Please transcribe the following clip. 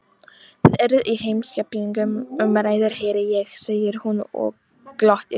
Þið eruð í heimspekilegum umræðum heyri ég, segir hún og glottir.